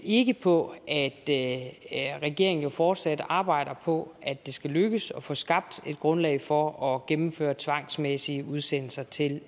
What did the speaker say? ikke på at at regeringen jo fortsat arbejder på at det skal lykkes at få skabt et grundlag for at gennemføre tvangsmæssige udsendelser til